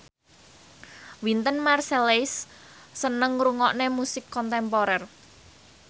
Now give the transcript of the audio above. Wynton Marsalis seneng ngrungokne musik kontemporer